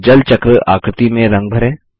जल चक्र आकृति में रंग भरें